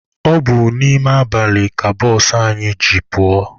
Ọ bụ n'ime abalị ka bụsụ anyị ji pụọ.